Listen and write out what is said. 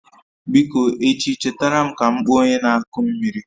Biko echi chetara m ka m kpọọ onye na-akụ mmiri